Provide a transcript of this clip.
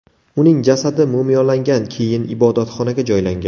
Uning jasadi mumiyolangan, keyin ibodatxonaga joylangan.